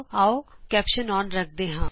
ਆਉ ਸਿਰਲੇਖ ਅੋਨ ਰੱਖਦੇ ਹਾਂ